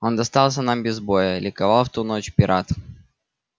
он достался нам без боя ликовал в ту ночь пират